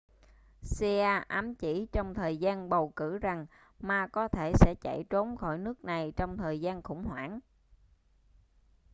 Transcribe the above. hsieh ám chỉ trong thời gian bầu cử rằng ma có thể sẽ chạy trốn khỏi nước này trong thời gian khủng hoảng